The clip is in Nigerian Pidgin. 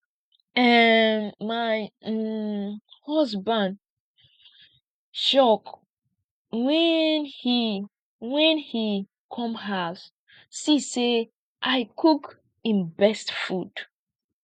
um my um husband shock wen he wen he come house see say i cook im best food